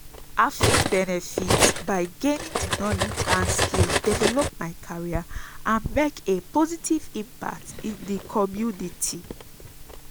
i fit benefit by gaining di knowledge and skills develop my career and make a positive impact in di community.